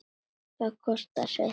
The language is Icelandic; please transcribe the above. Það kostar sitt.